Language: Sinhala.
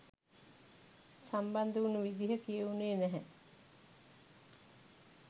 සම්බන්ධ වුණු විදිහ කියවුණේ නැහැ?